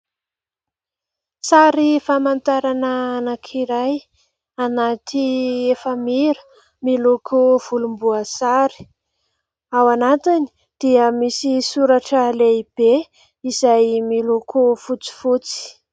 Sary famantarana anankiray anaty efamira, miloko volomboasary. Ao anatiny dia misy soratra lehibe izay miloko fotsifotsy.